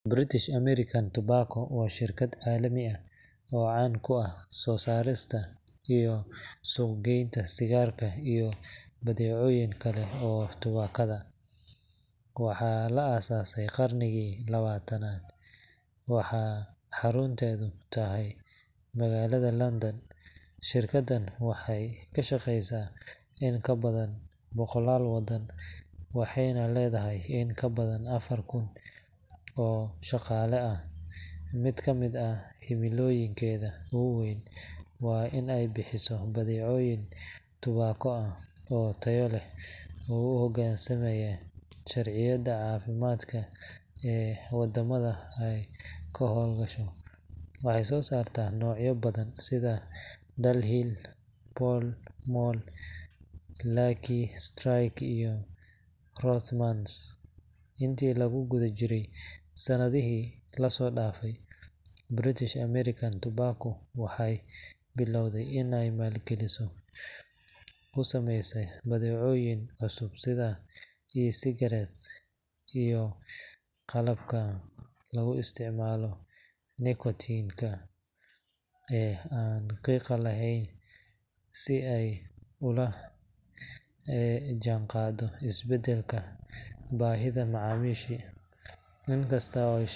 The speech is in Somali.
British American Tobacco waa shirkad caan ah oo caalami ah, soo saarista iyo suuqgeynta sigaarka iyo badeecooyin kale oo tubaakada ka samaysan. Shirkaddan waxaa la aasaasay qarnigii 20-aad, gaar ahaan sanadkii 1902, waxaana xarunteedu tahay magaalada London. shirkadan waxay ka shaqeysaa in ka badan 100 waddan, waxaana ay leedahay in ka badan 4,000 oo shaqaale ah. Mid ka mid ah himilooyinka ugu waaweyn ee shirkaddan waa inay bixiso badeecooyin tubaako ah oo tayo leh, isla markaana waafaqsan sharciyada caafimaadka ee waddamada oggol yihiin in la suuq geeyo. Shirkaddan waxay soo saartaa noocyo badan oo sigaarka ka mid ah, sida: Dunhill Pall Mall Lucky Strike Rothmans Intii lagu guda jiray sanadihii u dambeeyay, British American Tobacco waxay bilowday inay maalgelin xooggan ku sameyso badeecooyin cusub oo u dhigma isbeddelka baahida macaamiisha. Waxaa ka mid ah badeecooyinkan cusub:e-cigarettesiyo Qalab lagu isticmaalo nikotiinka aan qiiqa lahayn Tani waxay ujeedkeedu tahay in shirkaddu la jaanqaaddo isbeddelka dunida ee dhinaca caafimaadka, iyada oo macaamiisha u soo bandhigaysa xalal kale oo halis yareyn ah marka la barbar dhigo sigaarka dhaqanka.